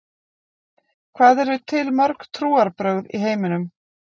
Hvað eru til mörg trúarbrögð í heiminum?